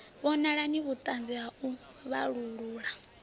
vhonali vhuṱanzi ha u vhalulula